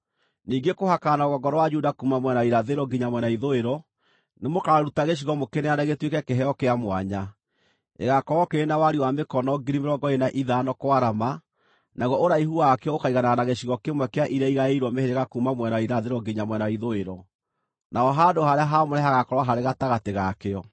“Ningĩ kũhakana na rũgongo rwa Juda kuuma mwena wa irathĩro nginya mwena wa ithũĩro, nĩmũkaruta gĩcigo mũkĩneane gĩtuĩke kĩheo kĩa mwanya. Gĩgaakorwo kĩrĩ na wariĩ wa mĩkono 25,000 kwarama, naguo ũraihu wakĩo ũkaiganana na gĩcigo kĩmwe kĩa iria igaĩirwo mĩhĩrĩga kuuma mwena wa irathĩro nginya mwena wa ithũĩro; naho handũ-harĩa-haamũre hagaakorwo harĩ gatagatĩ ga kĩo.